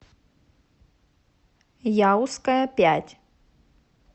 яузская пять